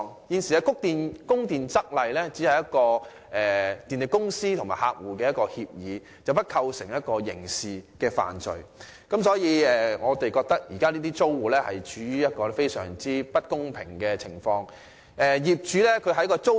現行的《供電則例》只屬電力公司和客戶之間的協議，並不會構成刑事罪，所以我們認為這些租戶處於一個非常不公平的位置。